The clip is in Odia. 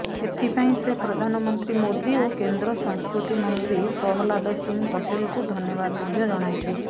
ଏଥିପାଇଁ ସେ ପ୍ରଧାନମନ୍ତ୍ରୀ ମୋଦୀ ଓ କେନ୍ଦ୍ର ସଂସ୍କୃତି ମନ୍ତ୍ରୀ ପ୍ରହଲ୍ଲାଦ ସିଂହ ପଟେଲଙ୍କୁ ଧନ୍ୟବାଦ ମଧ୍ୟ ଜଣାଇଛନ୍ତି